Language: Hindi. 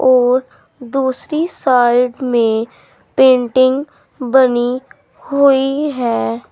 और दूसरी साइड में पेंटिंग बनी हुई है।